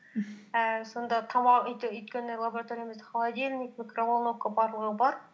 ііі сонда тамақ өткені лабораториямызда холодильник микроволновка барлығы бар